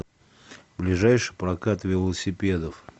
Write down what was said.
ближайший прокат велосипедов